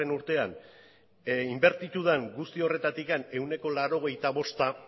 urtean inbertitu den guzti horretatik ehuneko laurogeita bosta